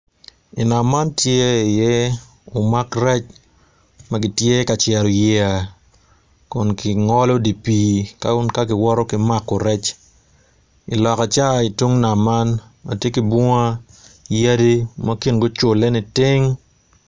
Inam man tye i iye umak rec magitye ka cero yeya kun gingolo tye pii ka giwoto ki mako rec iloka ca itung nam man ma tye ki bunga yadi ma kingi ocule niting